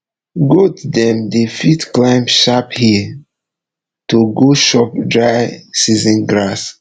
goat dem dey fit climb sharp hill to go chop dry season grass